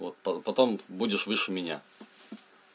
вот по потом будешь выше меня